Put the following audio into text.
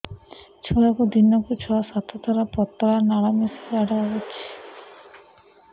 ଛୁଆକୁ ଦିନକୁ ଛଅ ସାତ ଥର ପତଳା ନାଳ ମିଶା ଝାଡ଼ା ହଉଚି